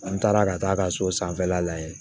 An taara ka taa a ka so sanfɛla la yen